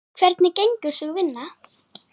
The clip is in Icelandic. Hvernig gengur sú vinna?